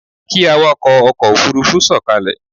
Kí awakọ̀ ọkọ̀ Òfurufú sọ̀kalẹ̀!